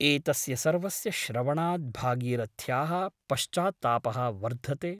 एतस्य सर्वस्य श्रवणात् भागीरथ्याः पश्चात्तापः वर्धते ।